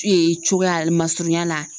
cogoya masurunya la